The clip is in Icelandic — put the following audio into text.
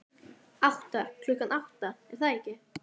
Átta, klukkan átta, er það ekki?